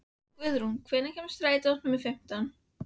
Guðrún, hvenær kemur strætó númer fimmtán?